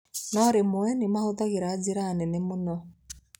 No rĩmwe nĩ mahũthagĩra njĩra nene mũno.